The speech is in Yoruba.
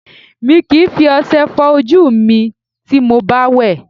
Mi kìí fi ọṣẹ fọ ojú mi ti mo bá wẹ̀